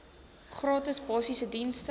gratis basiese dienste